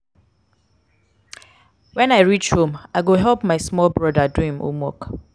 wen i reach home i go help my small broda do do im homework.